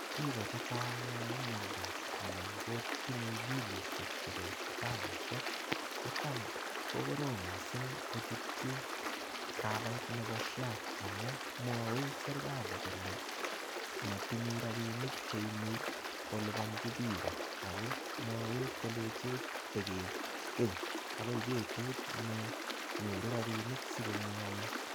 Biik chechang yoon miondos anan kotinye bilishek chebo sipitalishek kocham kokorom mising kochutyi kabait nebo SHA amun mwowech serikali kolee motinye rabinik cheimuch kolibonchi biik ak ko mwowech kolenchech tokiken akoi betut ne nyoru rabishek sikomwowech.